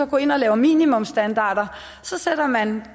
går ind og laver minimumsstandarder er at man